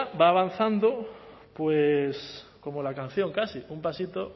va avanzando pues como la canción casi un pasito